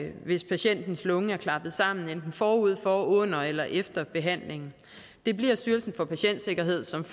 patientens lunge er klappet sammen enten forud for under eller efter behandlingen det bliver styrelsen for patientsikkerhed som